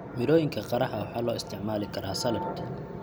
Mirooyinka qaraha waxaa loo isticmaali karaa saladh.